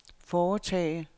foretage